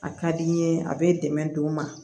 A ka di n ye a bɛ dɛmɛ don n ma